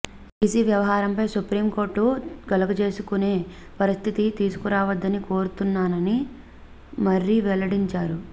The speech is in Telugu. ఈసీ వ్యవహారంపై సుప్రీంకోర్టు కలగజేసుకునే పరిస్థితి తీసుకురావద్దని కోరుతున్నాని మర్రి వెల్లడించారు